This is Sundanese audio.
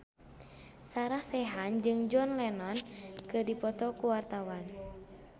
Sarah Sechan jeung John Lennon keur dipoto ku wartawan